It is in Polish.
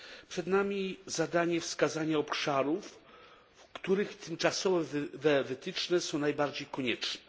Czeka nas zadanie wskazania obszarów, w których tymczasowe wytyczne są najbardziej konieczne.